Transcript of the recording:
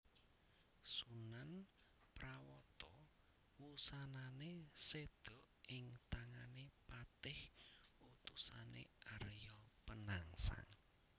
Sunan Prawata wusanané séda ing tangané patih utusané Arya Penangsang